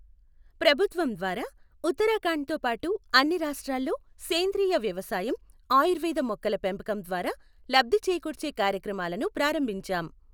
ప్రభుత్వం ద్వారా ఉత్తరాఖండ్ తో పాటు అన్ని రాష్ట్రాల్లో సేంద్రియ వ్యవసాయం, ఆయుర్వేద మొక్కల పెంపకం ద్వారా లబ్ధి చేకూర్చే కార్యక్రమాలను ప్రారంభించాం.